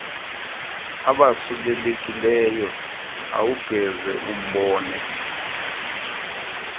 abasulelekileyo awungeze umbone